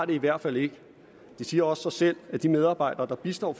det i hvert fald ikke det siger også sig selv at de medarbejdere der bistår